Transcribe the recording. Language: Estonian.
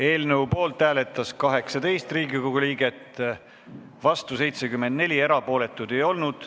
Eelnõu poolt hääletas 18 Riigikogu liiget, vastu 74, erapooletuid ei olnud.